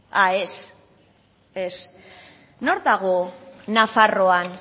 ah ez ez nor dago nafarroan